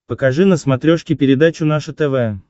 покажи на смотрешке передачу наше тв